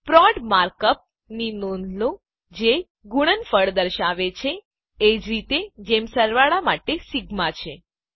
પ્રોડ માર્ક અપની નોંધ લો જે ગુણનફળ દર્શાવે છે એજ રીતે જેમ સરવાળા માટે સિગ્મા છે